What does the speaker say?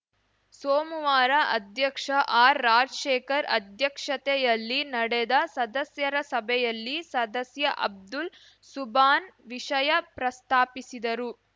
ಸೋಮುವಾರ ಅಧ್ಯಕ್ಷ ಆರ್‌ರಾಜಶೇಖರ್‌ ಅಧ್ಯಕ್ಷತೆಯಲ್ಲಿ ನಡೆದ ಸದಸ್ಯರ ಸಭೆಯಲ್ಲಿ ಸದಸ್ಯ ಅಬ್ದುಲ್‌ ಸುಭಾನ್‌ ವಿಷಯ ಪ್ರಸ್ತಾಪಿಸಿದರು